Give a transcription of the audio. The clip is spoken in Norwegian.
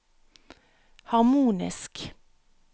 harmonisk